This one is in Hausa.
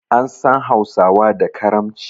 An san hausawa da karamci